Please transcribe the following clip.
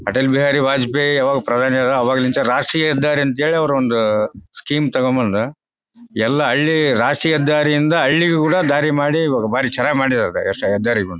ಅಟ್ಟಲ್ ಬಿಹಾರಿ ವಾಜಪೇಯಿ ಯಾವಾಗ್ ಪ್ರಧಾನಿ ಅದರ್ ಅವಾಗ ಇಂತ ರಾಷ್ಟ್ರೀಯ ಹೆದ್ದಾರಿ ಅಂತ ಸ್ಕೀಮ್ ತಕೋಬಂದು ಎಲ್ಲ ಹಳ್ಳಿ ರಾಷ್ಟ್ರೀಯ ಹೆದ್ದಾರಿ ಇಂದ ಹಳ್ಳಿ ಗು ಕೂಡ ದಾರಿ ಮಾಡಿ ಇವಾಗ ಭಾರಿ ಚೆನ್ನಾಗಿ ಮಾಡಿದಾರೆ ಹೆದ್ದಾರಿಗಳನ್ನು.